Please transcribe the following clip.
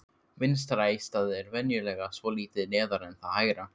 Vinstra eistað er venjulega svolítið neðar en það hægra.